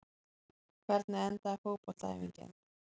hvernig endaði fótboltaæfingin